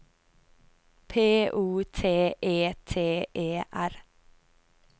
P O T E T E R